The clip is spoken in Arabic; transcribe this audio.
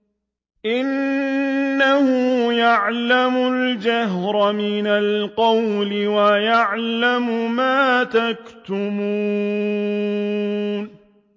إِنَّهُ يَعْلَمُ الْجَهْرَ مِنَ الْقَوْلِ وَيَعْلَمُ مَا تَكْتُمُونَ